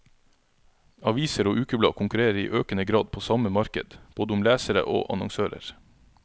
Aviser og ukeblad konkurrerer i økende grad på samme marked, både om lesere og annonsører.